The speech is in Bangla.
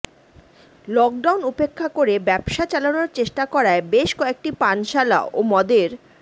লকডাউন উপেক্ষা করে ব্যবসা চালানোর চেষ্টা করায় বেশ কয়েকটি পানশালা ও মদের